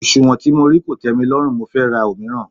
Òsùnwọ̀n tí mo rí kò tẹ́milọ́rùn mo fẹ́ ra òmíràn.